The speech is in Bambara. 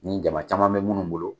Ni jama caman be munnu bolo